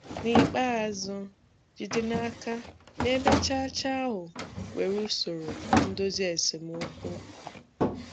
N'ikpeazụ, jide n'aka na ebe cha-cha ahụ nwere usoro ndozi esemokwu.